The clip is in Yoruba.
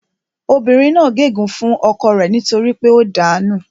Obìnrin náà gé ègún fún ọkọ rẹ nítorí pé ó dàá nù